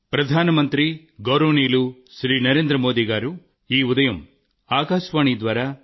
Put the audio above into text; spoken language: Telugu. ప్రియమైన నా దేశ వాసులారా